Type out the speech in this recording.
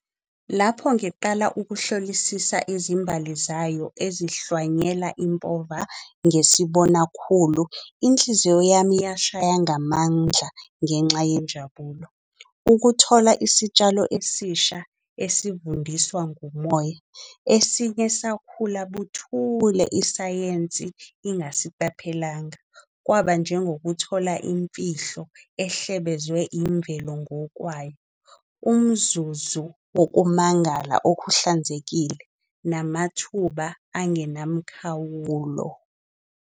Lapho ngiqala ukuhlolisisa izimbali zayo ezihlwanyela impova ngisibona khulu. Inhliziyo yami iyashaya ngamandla ngenxa yenjabulo. Ukuthola isitshalo esisha esifundiswa ngumoya. Esinye sakhula buthule isayensi ingasiqaphelanga. Kwaba njengokuthola imfihlo ehlebezwe imvelo ngokwayo umzuzu ngokumangala okuhlanzekile. Namathuba angenamkhawulo.